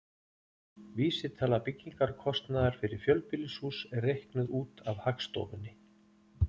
Vísitala byggingarkostnaðar fyrir fjölbýlishús er reiknuð út af Hagstofunni.